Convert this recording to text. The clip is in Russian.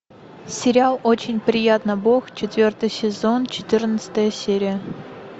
сериал очень приятно бог четвертый сезон четырнадцатая серия